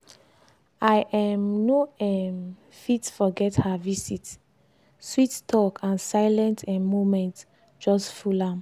i um no um fit forget her visit sweet talk and silent um moments just full am